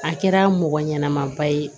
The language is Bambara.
A kɛra mɔgɔ ɲɛnama ba ye